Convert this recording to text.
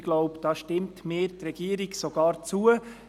Ich denke, darin stimmt mir die Regierung sogar zu.